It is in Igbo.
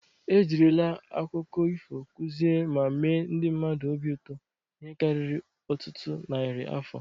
E jirila aụkọ ifo kụzie ma mee ndị mmadụ obi ụtọ ihe karịrị ọtụtụ narị afọ.